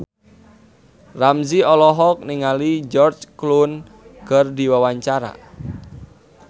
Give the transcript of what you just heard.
Ramzy olohok ningali George Clooney keur diwawancara